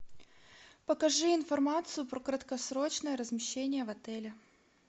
покажи информацию про краткосрочное размещение в отеле